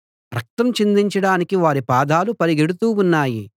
రక్తం చిందించడానికి వారి పాదాలు పరిగెడుతూ ఉన్నాయి